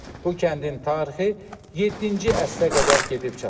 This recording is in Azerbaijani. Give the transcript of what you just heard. Bu kəndin tarixi yeddinci əsrə qədər gedib çatır.